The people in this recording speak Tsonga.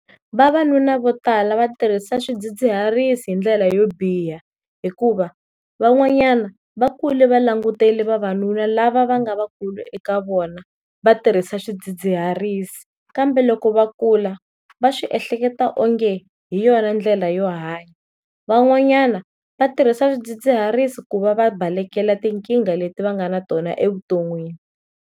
Vavanuna vo tala va tirhisa swidzidziharisi hi ndlela yo biha hikuva van'wanyana va kule va langutele vavanuna lava va nga vakulu eka vona va tirhisa swidzidziharisi, kambe loko va kula va swi ehleketa o nge hi yona ndlela yo hanya, van'wanyana va tirhisa swidzidziharisi ku va va balekela tinkingha leti va nga na tona evuton'wini.